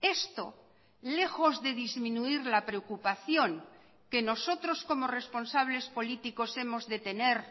esto lejos de disminuir la preocupación que nosotros como responsables políticos hemos de tener